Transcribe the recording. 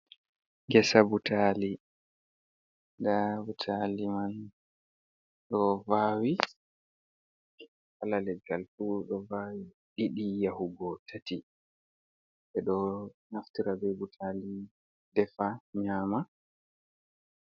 Ngesa butali, nda butali man ɗo vawi kala leggal fu ɗo vawi ɗiɗi yahugo tati ɓedo naftira be butali defa nyama.